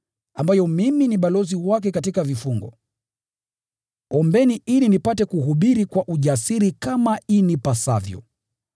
ambayo mimi ni balozi wake katika vifungo. Ombeni ili nipate kuhubiri kwa ujasiri kama inipasavyo.